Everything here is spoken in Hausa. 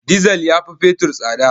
Dizal ya fi fetur tsada